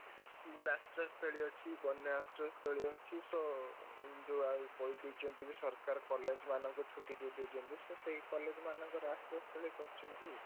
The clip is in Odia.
ଏଠି school ଆଶ୍ରୟସ୍ଥଳୀ ଅଛି, ବନ୍ୟା ଆଶ୍ରୟସ୍ଥଳୀ ଅଛି so ଯୋଉ ଆଉ କହିଦେଇଛନ୍ତି ବି ସରକାର college ମାନଙ୍କୁ ଛୁଟି ଦେଇ ଦେଇଛନ୍ତି so ସେଇ college ମାନଙ୍କୁ ଆଶ୍ରୟ ସ୍ଥଳୀ କରିଛନ୍ତି।